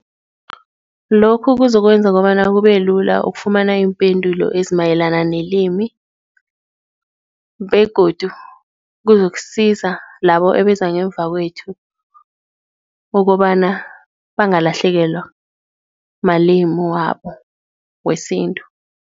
Lokhu kuzokwenza kobana kube lula ukufumana iimpendulo ezimayelana nelimi begodu, kuzokusiza labo ebeza ngemva kwethu kokobana bangalahlekelwa malimi wabo wesintu.